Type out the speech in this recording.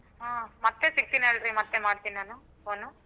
ಹಾ ಮತ್ತೇ ಸಿಕ್ತೀನಿ ಹೇಳ್ರಿ ಮತ್ತೇ ಮಾಡ್ತೀನಿ ನಾನು phone ಉ.